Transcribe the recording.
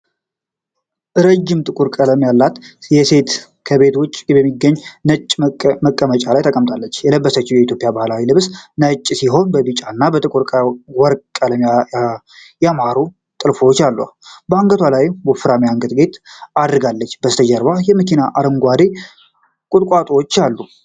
ረዥም ጥቁር ፀጉር ያላት ሴት ከቤት ውጪ በሚገኝ ነጭ መቀመጫ ላይ ተቀምጣለች። የለበሰችው የኢትዮጵያ ባህላዊ ልብስ ነጭ ሲሆን በቢጫና በጥቁር ወርቅ ቀለም ያማሩ ጥልፎች አሉት። በአንገቷ ላይ ወፍራም የአንገት ጌጥ አድርጋለች። ከበስተጀርባ መኪናና አረንጓዴ ቁጥቋጦዎች አሉ።